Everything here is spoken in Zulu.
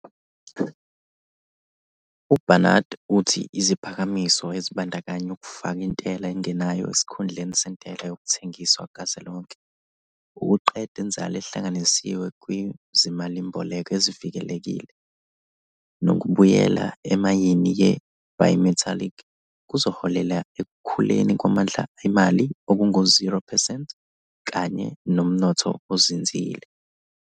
UBarnard uthi iziphakamiso, ezibandakanya ukufaka intela engenayo esikhundleni sentela yokuthengisa kazwelonke, ukuqeda inzalo ehlanganisiwe kwizimalimboleko ezivikelekile, nokubuyela emalini ye-bimetallic, kuzoholela ekukhuleni kwamandla emali okungu-0 percent kanye nomnotho ozinzile.